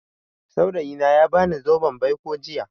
Saurayi na ya ba ni zoben baiko jiya